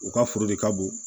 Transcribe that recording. U ka foro de ka bon